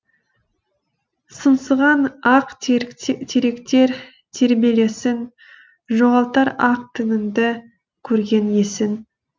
сыңсыған ақ теректер тербелесің жоғалтар ақ діңіңді көрген есін